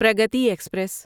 Pragati express